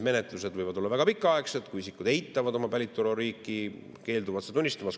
Menetlused võivad olla väga pikaaegsed, kui isikud varjavad oma päritoluriiki, keelduvad seda tunnistamast.